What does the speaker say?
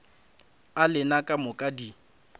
a lena ka moka di